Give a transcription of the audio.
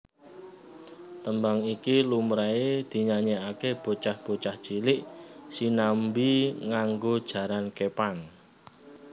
Tembang iki lumrahe dinyanyeake bocah bocah cilik sinambi nganggo jaran kepang